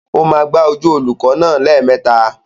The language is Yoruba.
Ó máa gbá ojú olùkọ́ náà lẹ́ẹ̀mẹta.